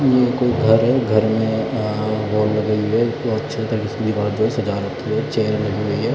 यह कोई घर है घर में इतनी अच्छी तरीके से सजा रखी है चेयर लगी हुई है।